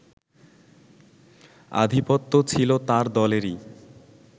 আধিপত্য ছিল তার দলেরই